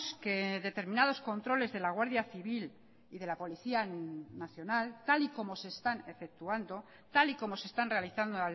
que determinados controles de la guardia civil y de la policía nacional tal y como se están efectuando tal y como se están realizando